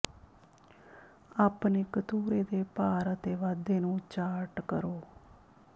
ਆਪਣੇ ਕਤੂਰੇ ਦੇ ਭਾਰ ਅਤੇ ਵਾਧੇ ਨੂੰ ਚਾਰਟ ਕਰੋ